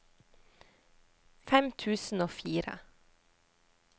fem tusen og fire